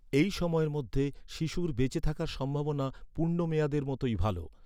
এই সময়ের মধ্যে, শিশুর বেঁচে থাকার সম্ভাবনা পূর্ণ মেয়াদের মতোই ভালো।